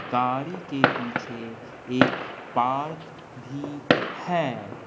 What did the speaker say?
गाड़ी के पीछे एक पार्क भी है।